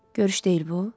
Görüş deyil bu.